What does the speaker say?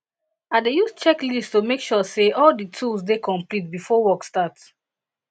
i dey use checklist to make sure say all di tools dey complete before work start